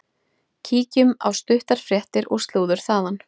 Kíkjum á stuttar fréttir og slúður þaðan.